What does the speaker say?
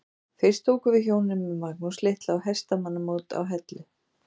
Fyrst ókum við hjónin með Magnús litla á hestamannamót á Hellu.